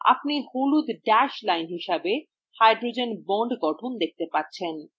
আপনি হলুদ dash lines হিসাবে hydrogen bond গঠন দেখতে পাচ্ছেন